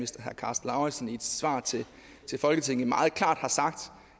herre karsten lauritzen i et svar til folketinget meget klart har sagt